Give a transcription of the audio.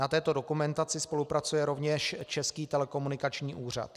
Na této dokumentaci spolupracuje rovněž Český telekomunikační úřad.